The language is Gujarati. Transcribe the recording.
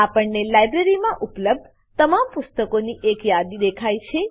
આપણને લાઇબ્રેરીમાં ઉપલબ્ધ તમામ પુસ્તકોની એક યાદી દેખાય છે